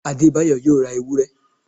Adebayo yóò ra ewúré